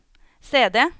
CD